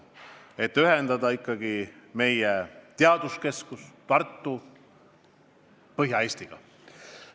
See ju ühendab meie teaduskeskuse Tartu Põhja-Eestiga.